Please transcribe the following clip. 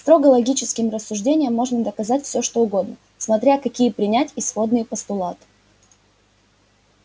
строго логическим рассуждением можно доказать всё что угодно смотря какие принять исходные постулаты